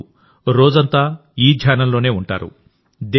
ఇప్పుడు రోజంతా ఈ ధ్యానంలోనే ఉంటారు